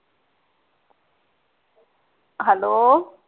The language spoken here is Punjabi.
hello